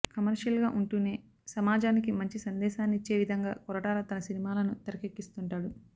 కమర్షియల్గా ఉంటూనే సమాజానికి మంచి సందేశాన్నిచ్చేవిధంగా కొరటాల తన సినిమాలను తెరకెక్కిస్తుంటాడు